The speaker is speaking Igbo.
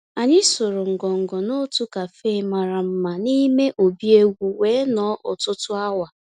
Ànyị́ sụ̀rụ́ ngọngọ́ n'òtù cafe màrà mmá n'ímé òbí égwú wéé nọ̀ọ́ ọ̀tụtụ́ awa.